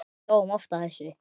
Við hlógum oft að þessu.